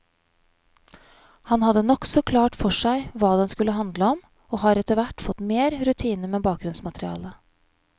Han hadde nokså klart for seg hva den skulle handle om, og har etterhvert fått mer rutine med bakgrunnsmaterialet.